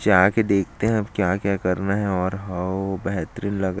जा के देखते है अब क्या क्या करना है और हओ बेहतरीन लग--